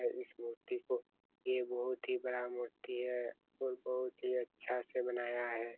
और इस मूर्ति को ये बहोत ही बड़ा है मूर्ति है और बहुत ही अच्छा से बनाया है।